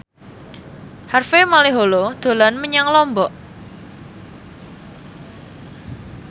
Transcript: Harvey Malaiholo dolan menyang Lombok